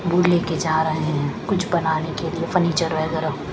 Would ले के जा रहे हैं कुछ बनाने के लिए फर्नीचर वगैरह।